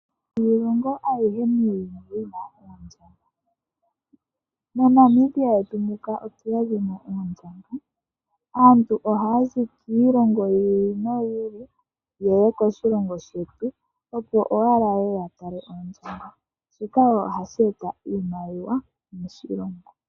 Hayilongo ayihe muuyuni yi na oondjamba. MoNamibia yetu muka otu udha mo oondjamba. Aantu ohaya zi kiilongo yi ili noyi ili ye ye koshilongo shetu, opo owala yeye ya tale oondjamba. Shika ohashi eta iimaliwa moshilongo.